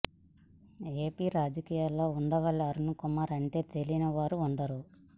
AP రాజకీయాలలో ఉండవల్లి అరుణ్ కుమార్ అంటే తెలియని వారు ఉండరు